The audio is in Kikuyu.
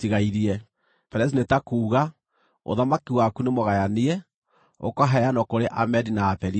PERES nĩ ta kuuga: Ũthamaki waku nĩ mũgayanie, ũkaheanwo kũrĩ Amedi na Aperisia.”